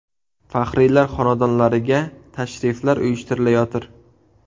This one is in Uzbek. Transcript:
Faxriylar xonadonlariga tashriflar uyushtirilayotir.